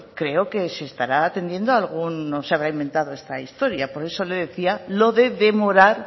creo que se estará atendiendo a algún no se habrá inventado esta historia por eso le decía lo de demorar